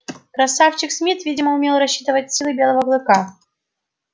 красавчик смит видимо умел рассчитывать силы белого клыка